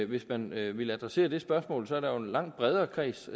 hvis man ville adressere det spørgsmål er der jo en langt bredere kreds